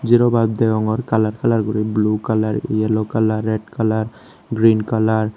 zero berb degongor color color guri blue color yellow color red color green color.